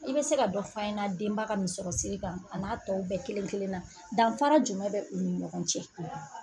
I be se ka dɔ f'an ɲɛna denba ka misɔrɔsiri kan a n'a tɔw bɛɛ kelen-kelen na danfara jumɛn bɛ u ni ɲɔgɔn cɛ? .